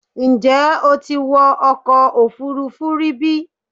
Ǹjẹ́ o ti wọ ọkọ̀ òfuurufú rí bí?